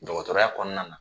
Dɔkɔtɔrɔya kɔnɔna na.